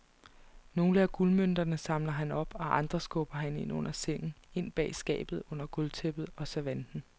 Nogle af guldmønterne samler han op og andre skubber han ind under sengen, ind bag skabet, under gulvtæppet og servanten.